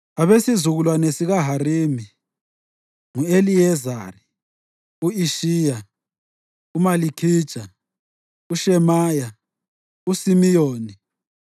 Abesizukulwane sikaHarimi: ngu-Eliyezari, u-Ishiya, uMalikhija, uShemaya, uSimiyoni,